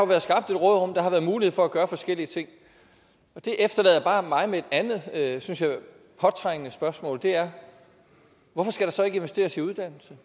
været skabt et råderum og der har været mulighed for at gøre forskellige ting det efterlader bare mig med et andet synes jeg påtrængende spørgsmål og det er hvorfor skal der så ikke investeres i uddannelse